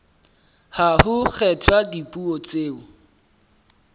ha ho kgethwa dipuo tseo